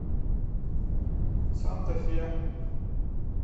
санта фе